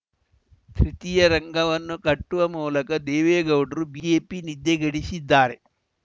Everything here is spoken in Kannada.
ತೃತೀಯ ರಂಗವನ್ನು ಕಟ್ಟುವ ಮೂಲಕ ದೇವೇಗೌಡರು ಬಿಜೆಪಿ ನಿದ್ದೆಗೆಡಿಸಿದ್ದಾರೆ